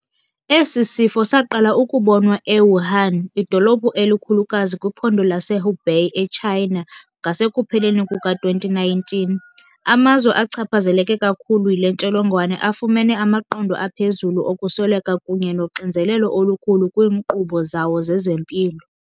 Esi sifo saqala ukubonwa e-Wuhan, idolophu elikhulukazi kwiphondo lase Hubei eChina, ngasekupheleni kuka-2019. Amazwe achaphazeleke kakhulu yile ntsholongwane afumene amaqondo aphezulu okusweleka kunye noxinzelelo olukhulu kwiinkqubo zawo zezempilo.